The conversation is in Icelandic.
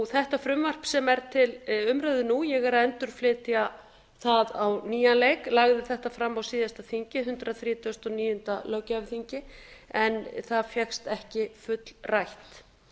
þetta frumvarp sem er til umræðu nú ég er að endurflytja það á nýjan leik lagði þetta fram á síðasta þingi hundrað þrítugasta og níunda löggjafarþingi en það fékkst ekki fullrætt